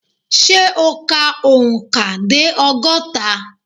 Ṣẹ́ o kà òǹkà dé ọgọ́ta?